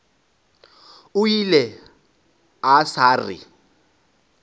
o ile a sa re